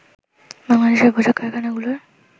বাংলাদেশের পোশাক কারখানাগুলোর